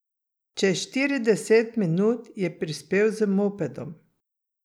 Čez štirideset minut je prispel z mopedom.